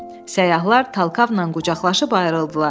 Səyyahlar Talkavla qucaqlaşıb ayrıldılar.